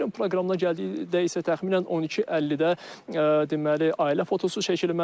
Tədbirin proqramına gəldikdə isə təxminən 12:50-də deməli ailə fotosu çəkilməlidir.